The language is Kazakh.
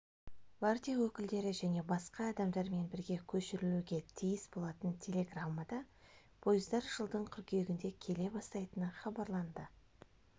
партия өкілдері және басқа адамдармен бірге көшірілуге тиіс болатын телеграммада пойыздар жылдың қыркүйегінде келе бастайтыны хабарланды